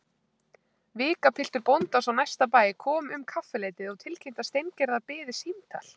Vikapiltur bóndans á næsta bæ kom um kaffileytið og tilkynnti að Steingerðar biði símtal.